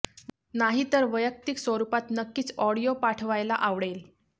नाही तर वैयक्तिक स्वरुपात नक्कीच ऑडिओ पाठवायला आवडेल